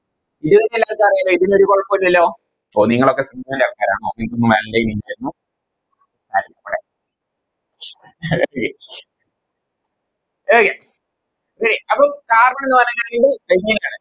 ഇത് നിങ്ങക്കെല്ലാവർക്കും അറിയാലോ ഇതിനൊരു കൊഴപ്പോല്ലല്ലോ ഓ നിങ്ങളൊക്കെ decent ആൾക്കാരാണോ അപ്പൊ നിങ്ങക്കൊന്നും Valentine ഇല്ലായിരുന്നു Okay Okay അപ്പൊ Carbon covalent ന്ന് പറഞ്ഞാല് ഇത് ഇങ്ങനെയാണ്